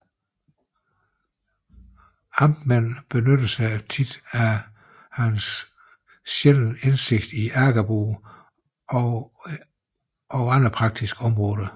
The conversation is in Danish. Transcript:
Amtmændene benyttede sig oftere af hans sjældne indsigt i agerbruget og på andre praktiske områder